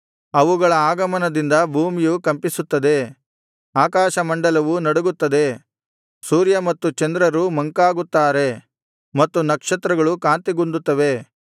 ಅವುಗಳ ಆಗಮನದಿಂದ ಭೂಮಿಯು ಕಂಪಿಸುತ್ತದೆ ಆಕಾಶಮಂಡಲವು ನಡಗುತ್ತದೆ ಸೂರ್ಯ ಮತ್ತು ಚಂದ್ರರು ಮಂಕಾಗುತ್ತಾರೆ ಮತ್ತು ನಕ್ಷತ್ರಗಳು ಕಾಂತಿಗುಂದುತ್ತವೆ